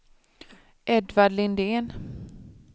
Edvard Lindén